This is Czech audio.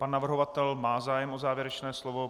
Pan navrhovatel má zájem o závěrečné slovo.